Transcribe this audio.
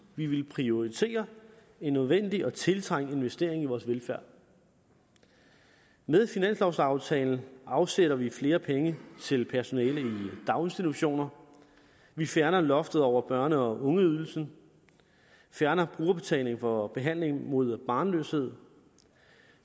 vi ville prioritere en nødvendig og tiltrængt investering i vores velfærd med finanslovaftalen afsætter vi flere penge til personale i daginstitutioner vi fjerner loftet over børne og ungeydelsen vi fjerner brugerbetalingen for behandling mod barnløshed